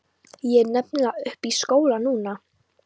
Ég er nefnilega uppi í skóla núna.